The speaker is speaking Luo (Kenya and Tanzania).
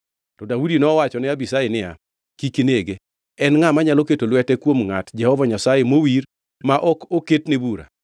To Daudi nowachone Abishai niya, “Kik inege! En ngʼa manyalo keto lwete kuom ngʼat Jehova Nyasaye mowir ma ok oket ne bura?”